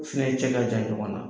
Finɛ cɛ ka jan ɲɔgɔn na